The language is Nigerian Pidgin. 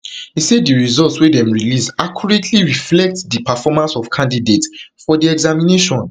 e say di results wey dem release accurately reflect di performance of candidates for di examination